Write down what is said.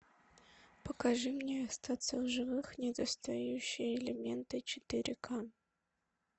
покажи мне остаться в живых недостающие элементы четыре ка